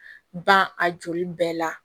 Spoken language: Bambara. Ban a joli bɛɛ la